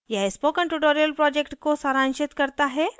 यह spoken tutorial project को सारांशित करता है